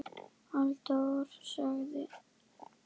Halldór sagði